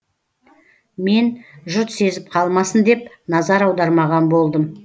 мен жұрт сезіп қалмасын деп назар аудармаған болдым